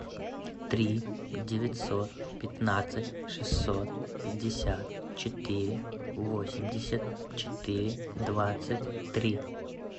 три девятьсот пятнадцать шестьсот пятьдесят четыре восемьдесят четыре двадцать три